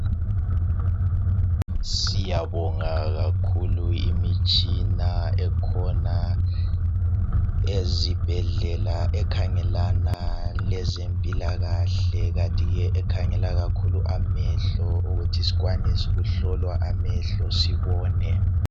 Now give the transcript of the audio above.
Siyabonga kakhulu imitshina ekhona ezibhedlela ekhangelana lezempilakahle kathi ke ekhangela kakhulu amehlo ukuthi sikwanise ukuhlolwa amehlo sibone.